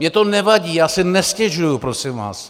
Mně to nevadí, já si nestěžuji prosím vás.